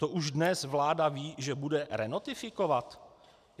To už dnes vláda ví, že bude renotifikovat?